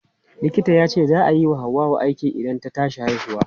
Likita yace za a yi wa Hauwa aiki idan ta tashi haihuwa.